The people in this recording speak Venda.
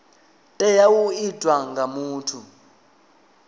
tea u itwa nga muthu